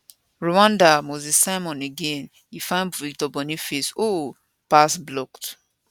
rwanda moses simon again e find victor boniface ohhhhh pass blocked